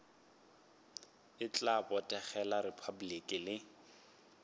e tla botegela repabliki le